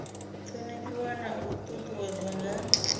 thonifhiwa na u ṱuṱuwedzwa nga